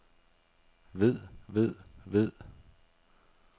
ved ved ved